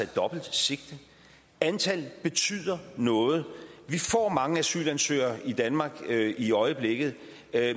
dobbelt sigte antallet betyder noget vi får mange asylansøgere i danmark i øjeblikket